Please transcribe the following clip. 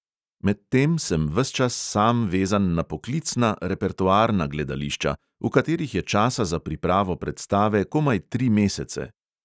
Medtem sem sam ves čas vezan na poklicna, repertoarna gledališča, v katerih je časa za pripravo predstave komaj tri mesece.